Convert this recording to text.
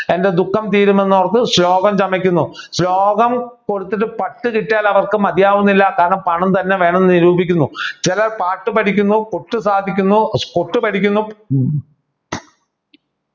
എൻ്റെ ദുഃഖം തീരുമെന്ന് ഓർത്ത് ശ്ലോകം ചമയ്ക്കുന്നു ശ്ലോകം കൊടുത്തിട്ട് പട്ടു കിട്ടിയാൽ അവർക്ക് മതിയാവുന്നുല്ല കാരണം പണം തന്നെ വേണമെന്നു നിരൂപിക്കുന്നു ചിലർ പാട്ടു പഠിക്കുന്നു കൊട്ട് സാധിക്കുന്നു കൊട്ട് പഠിക്കുന്നു